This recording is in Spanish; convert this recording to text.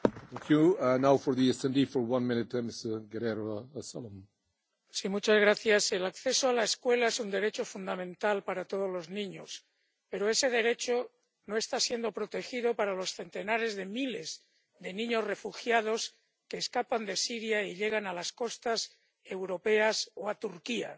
Señor presidente, el acceso a la escuela es un derecho fundamental para todos los niños, pero ese derecho no está siendo protegido para los centenares de miles de niños refugiados que escapan de Siria y llegan a las costas europeas o a Turquía.